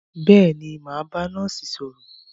Bẹ́ẹ̀ni, mà á bá nọ́ọ́sì sọ̀rọ̀.